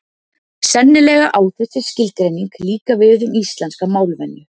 Sennilega á þessi skilgreining líka við um íslenska málvenju.